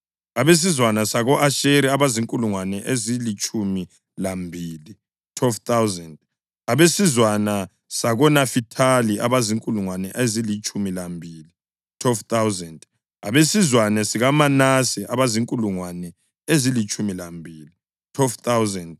abesizwana sako-Asheri abazinkulungwane ezilitshumi lambili (12,000), abesizwana sakoNafithali abazinkulungwane ezilitshumi lambili (12,000), abesizwana sakoManase abazinkulungwane ezilitshumi lambili (12,000),